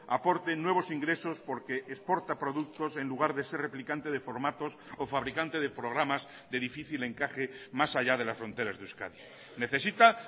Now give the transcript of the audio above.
aporte nuevos ingresos porque exporta productos en lugar de ser replicante de formatos o fabricante de programas de difícil encaje más allá de las fronteras de euskadi necesita